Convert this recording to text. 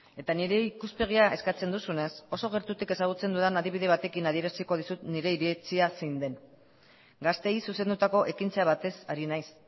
eta nire ikuspegia eskatzen duzunez oso gertutik ezagutzen dudan adibide batekin adieraziko dizut nire iritzia zein den gazteei zuzendutako ekintza batez ari naiz